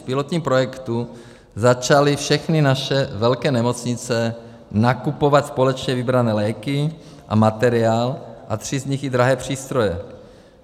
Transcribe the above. V pilotním projektu začaly všechny naše velké nemocnice nakupovat společně vybrané léky a materiál a tři z nich i drahé přístroje.